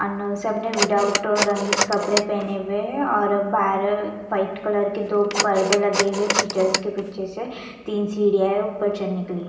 सबने विथाउट रंगीत कपडे पहने हुए है और बहार वाइट कलर के दो परदे लगे हुए है टीचर्स पीछे से तीन सीढिया है ऊपर चढ़ने के लिए --